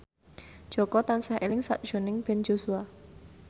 Jaka tansah eling sakjroning Ben Joshua